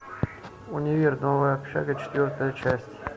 универ новая общага четвертая часть